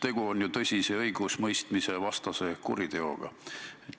Tegu on ju tõsise õigusemõistmisvastase kuriteoga.